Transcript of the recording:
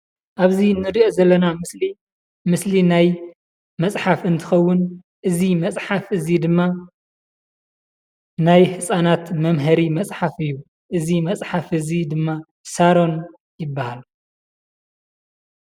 ኣብዚ እንሪኦ ዘለና ምስሊ ምስሊ ናይ መፅሓፍ እንትኸውን እዚ መፅሓፍ እዚ ድማ ናይ ህፃናት መምሃሪ መፅሓፍ እዩ፡፡ እዚ መፅሓፍ እዚ ድማ ሳሮን ይበሃል፡፡